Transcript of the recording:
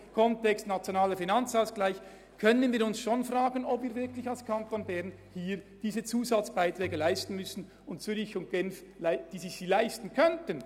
Im Kontext des NFA können wir uns schon fragen, ob wir als Kanton Bern wirklich diese Zusatzbeiträge leisten müssen, während Zürich und Genf dies nicht tun, obwohl sie es sich leisten könnten.